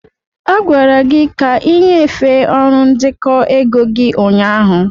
a gwara gị ka ị nyefee ọrụ ndekọ ego gị ụnyaahụ.